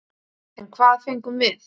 En hvað fengum við?